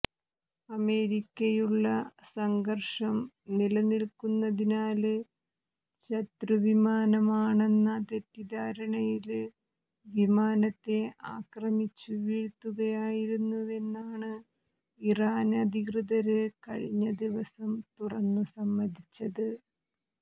അമേരിക്കയുള്ള സംഘര്ഷം നിലനില്ക്കുന്നതിനാല് ശത്രിവിമാനമാണെന്ന തെറ്റിദ്ധാരണയില് വിമാനത്തെ ആക്രമിച്ചു വീഴുത്തുകയായിരുന്നുവെന്നാണ് ഇറാന് അധികൃതര് കഴിഞ്ഞ ദിവസം തുറന്നു സമ്മതിച്ചത്